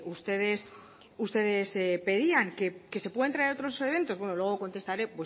ustedes pedían que se pueden traer otros eventos bueno luego contestaré